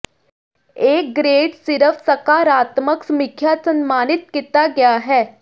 ਇਹ ਗ੍ਰੇਡ ਸਿਰਫ ਸਕਾਰਾਤਮਕ ਸਮੀਖਿਆ ਸਨਮਾਨਿਤ ਕੀਤਾ ਗਿਆ ਹੈ